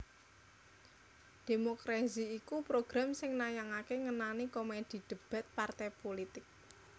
Democrazy iku program sing nayangaké ngenani komedi debat partai pulitik